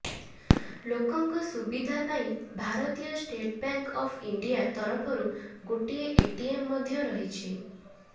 ଲୋକଙ୍କ ସୁବିଧା ପାଇଁ ଭାରତୀୟ ଷ୍ଟେଟ ବ୍ୟାଙ୍କ ଅଫ ଇଣ୍ଡିଆ ତରଫରୁ ଗୋଟିଏ ଏଟିଏମ ମଧ୍ୟ ରହିଛି